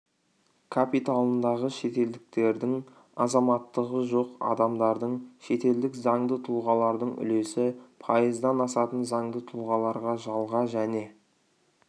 капиталындағы шетелдіктердің азаматтығы жоқ адамдардың шетелдік заңды тұлғалардың үлесі пайыздан асатын заңды тұлғаларға жалға және